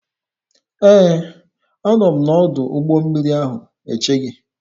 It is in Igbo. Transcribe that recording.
Ee, a nọ m n'ọdụ ụgbọ mmiri ahụ eche gị.